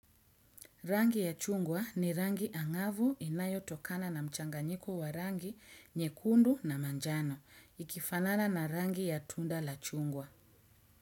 Rangi ya chungwa ni rangi angavu inayo tokana na mchanganyiko wa rangi, nyekundu na manjano, ikifanana na rangi ya tunda la chungwa.